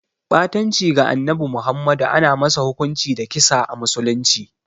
Ɓatanci ga Annabi Muhammadu ana masa hukunci da kisa a musulunci.